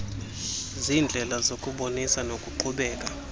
ziindlela zokubonisa nokuqhubela